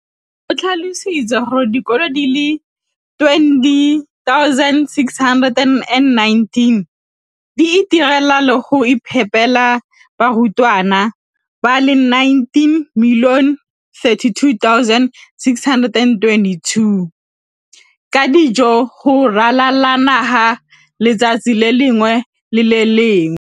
o tlhalositse gore dikolo di le 20 619 di itirela le go iphepela barutwana ba le 9 032 622 ka dijo go ralala naga letsatsi le lengwe le le lengwe.